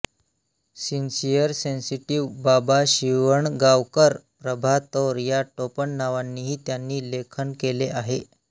sincere Sensitive Baba Shivangaonkar Prabha Taur या टोपण नावांनीही त्यांनी लेखनकेले आहे